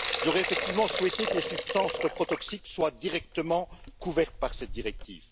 J'aurais effectivement souhaité que les substances reprotoxiques soient directement couvertes par cette directive.